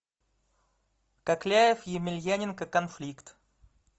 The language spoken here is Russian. кокляев емельяненко конфликт